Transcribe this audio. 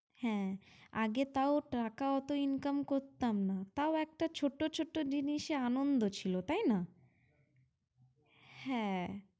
হ্যাঁ আগে তাও টাকা অতো income করতাম না, তাও একটা ছোট ছোট জিনিসে আনন্দ ছিল তাই না? হ্যাঁ